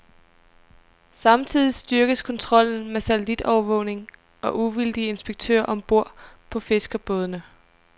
Samtidig styrkes kontrollen med satellitovervågning og uvildige inspektører om bord på fiskerbådene.